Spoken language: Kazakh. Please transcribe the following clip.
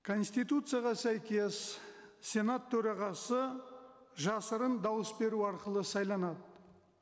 конституцияға сәйкес сенат төрағасы жасырын дауыс беру арқылы сайланады